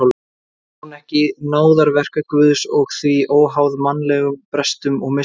Var hún ekki náðarverk Guðs og því óháð mannlegum brestum og mistökum?